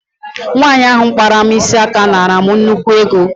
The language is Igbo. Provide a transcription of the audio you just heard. Nwaanyi ahụ kpara m isi aka naara m nnukwu ego.